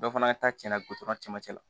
Dɔ fana ta cɛya cɛmancɛ la